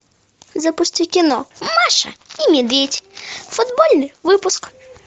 запусти кино маша и медведь футбольный выпуск